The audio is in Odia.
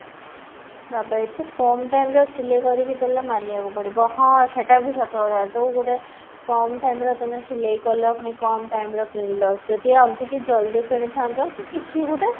ବାବା ଏତେ କମ time ରେ ସିଲେଇ କରିକି ଦେଲା ମାନିବାକୁ ପଡିବ ହଁ ସେଟା ବି ସତ କଥା ଯୋଉ ଗୋଟେ କମ time ରେ ତମେ ସିଲେଇ କଲ ପୁଣି କମ time ରେ କିଣିଲ ଯାଇଦ ଆଉ ଟିକେ ଜଲ୍ଦି କିଣିଥାନ୍ତ ତ କିଛି ଗୋଟେ